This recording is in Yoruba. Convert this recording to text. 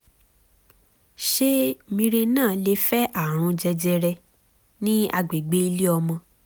ṣé mirena lè fa ààrùn jẹjẹrẹ ní agbègbè ilé ọmọ?